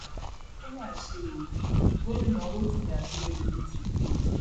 ó mà ṣe ó gómìnà rotimi akeredolu ti kú o